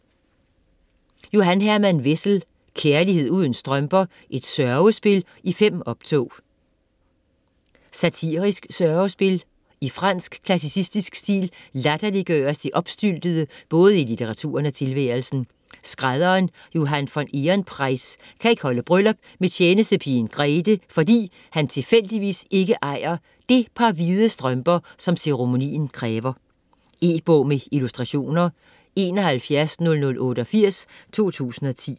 Wessel, Johan Herman: Kærlighed uden strømper: et sørgespil i 5 optog Satirisk sørgespil. I fransk klassicistisk stil latterliggøres det opstyltede både i litteraturen og tilværelsen. Skrædderen Johan von Ehrenpreis kan ikke holde bryllup med tjenestepigen Grethe, fordi han tilfældigvis ikke ejer det par hvide strømper, som ceremonien kræver. E-bog med illustrationer 710088 2010.